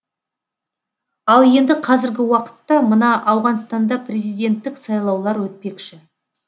ал енді қазіргі уақытта мына ауғанстанда президенттік сайлаулар өтпекші